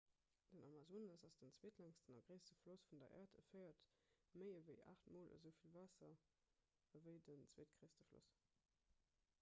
den amazonas ass den zweetlängsten a gréisste floss vun der äerd e féiert méi ewéi 8 mol esou vill waasser ewéi den zweetgréisste floss